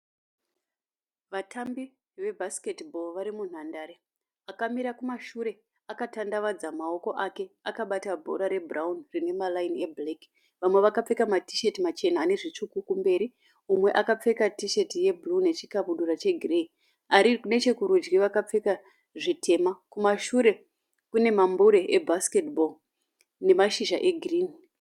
Vatambi vebhasiketi bho vari munhandare akamira kumashure akatandavadza maoko ake akabata bhora rebhurauni rine maraini ebhureki vamwe vakapfeka matisheti machena ane zvitsvuku kumberi mumwe akapfeka tisheti yebhuruu nechikabudura chegireyi ari nechekurudyi akapfeka zvitema kumashure kune mambure ebhasiketi bho nemashizha egirini.